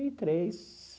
e três.